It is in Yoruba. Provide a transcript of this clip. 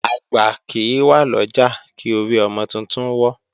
Àgbà kì í wà lọ́jà, kí orí ọmọ titun wọ́.